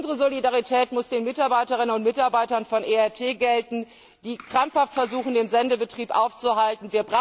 Unsere Solidarität muss den Mitarbeiterinnen und Mitarbeitern von ERT gelten, die krampfhaft versuchen, den Sendebetrieb aufrecht zu erhalten.